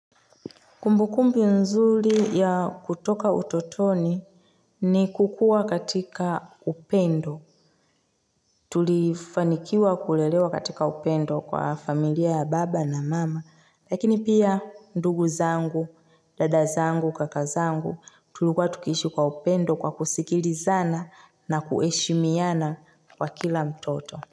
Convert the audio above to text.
Kumbukumbu nzuri ya kutoka utotoni ni kukuwa katika upendo. Tulifanikiwa kulelewa katika upendo kwa familia ya baba na mama, lakini pia ndugu zangu, dada zangu, kaka zangu, tulikuwa tukiishi kwa upendo kwa kusikilizana na kuheshimiana kwa kila mtoto.